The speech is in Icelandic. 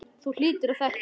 Þú hlýtur að þekkja hann.